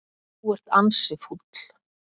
Þú ert ansi fúll.